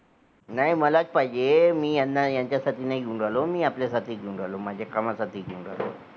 घरानमध्ये आपण शोभेच्या वस्तू जरी आणल्या तरी त्यामध्ये plastic असते.